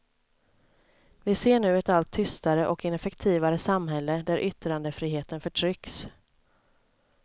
Vi ser nu ett allt tystare och ineffektivare samhälle där yttrandefriheten förtrycks.